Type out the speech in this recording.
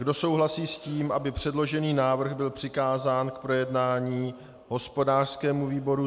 Kdo souhlasí s tím, aby předložený návrh byl přikázán k projednání hospodářskému výboru?